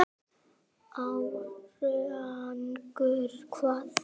Árangur hvað?